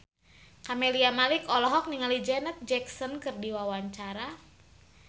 Camelia Malik olohok ningali Janet Jackson keur diwawancara